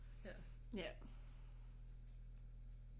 Ja